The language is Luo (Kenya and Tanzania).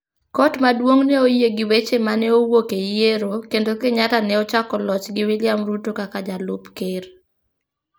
Kot maduong' ne oyie gi weche ma ne owuok e yiero, kendo Kenyatta ne ochako loch gi William Ruto kaka jalup ker.